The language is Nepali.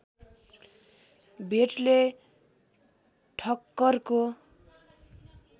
भेटले ठक्करको